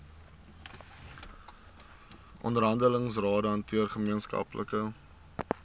onderhandelingsrade hanteer gemeenskaplike